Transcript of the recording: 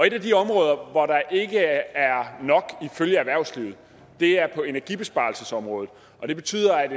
et af de områder hvor der ikke er nok er energibesparelsesområdet og det betyder at